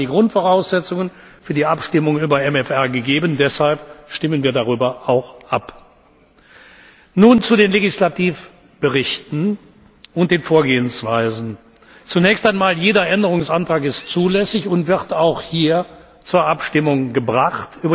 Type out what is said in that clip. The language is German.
Damit waren die Grundvoraussetzungen für die Abstimmung über den MFR gegeben, deshalb stimmen wir darüber auch ab. Nun zu den Legislativberichten und der Vorgehensweise Zunächst einmal ist jeder Änderungsantrag zulässig und wird auch hier zur Abstimmung gebracht.